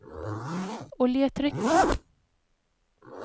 oljetrykk